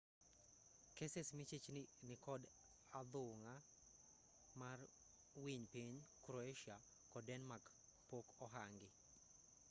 keses michich ni nikod athung'a mar winy piny croatia kod denmark pok ohangi